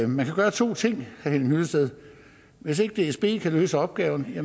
man kan gøre to ting henning hyllested hvis ikke dsb kan løse opgaven